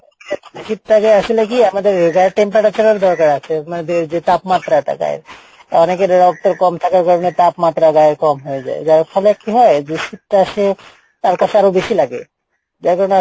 শীত টাকে আসলে কী, আমাদের দরকার আছে মানে যে তাপমাত্রা টা গায়ের অনেকের রক্তর কম থাকার কারনে তাপমাত্রা গায়ের কম হয়ে যাই যার ফলে কী হয় যে শীত টা সে, তার কাসে আরো বেশি লাগে, যার কারনে